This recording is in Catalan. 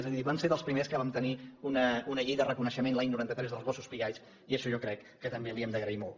és a dir vam ser dels primers que vam tenir una llei de reconeixement l’any noranta tres dels gossos pigalls i això jo crec que també li ho hem d’agrair molt